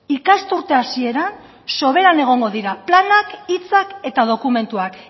ikasturte hasieran soberan egongo dira planak hitzak eta dokumentuak